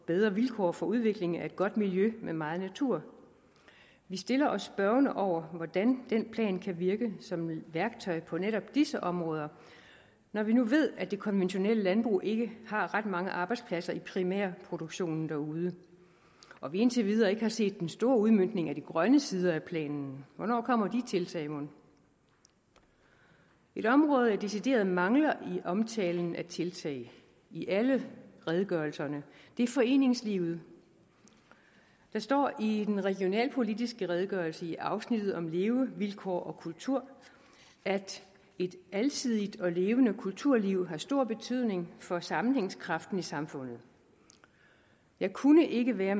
bedre vilkår for udvikling af et godt miljø med meget natur vi stiller os spørgende over for hvordan den plan kan virke som værktøj på netop disse områder når vi nu ved at det konventionelle landbrug ikke har ret mange arbejdspladser i primærproduktionen derude og vi indtil videre ikke har set den store udmøntning af de grønne sider af planen hvornår kommer de tiltag mon et område jeg decideret mangler i omtalen af tiltag i alle redegørelserne er foreningslivet der står i den regionalpolitiske redegørelse i afsnittet om levevilkår og kultur at et alsidigt og levende kulturliv har stor betydning for sammenhængskraften i samfundet jeg kunne ikke være